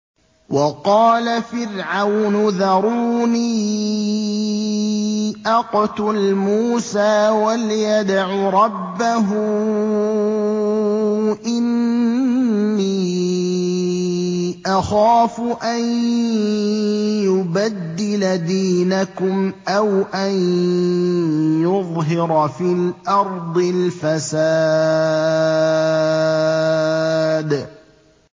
وَقَالَ فِرْعَوْنُ ذَرُونِي أَقْتُلْ مُوسَىٰ وَلْيَدْعُ رَبَّهُ ۖ إِنِّي أَخَافُ أَن يُبَدِّلَ دِينَكُمْ أَوْ أَن يُظْهِرَ فِي الْأَرْضِ الْفَسَادَ